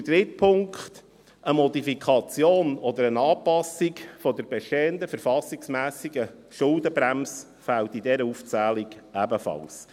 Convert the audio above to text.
Der dritte Punkt: Eine Modifikation oder Anpassung der bestehenden verfassungsmässigen Schuldenbremse fehlt in dieser Aufzählung ebenfalls.